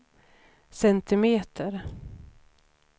centimeter